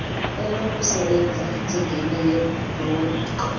enokusebenza njengenye yeebloko